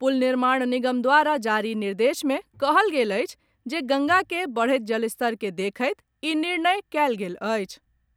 पुल निर्माण निगम द्वारा जारी निर्देश मे कहल गेल अछि जे गंगा के बढ़त जलस्तर के देखैत ई निर्णय कयल गेल अछि।